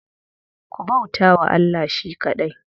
Ku bauta wa Allah shi kaɗai.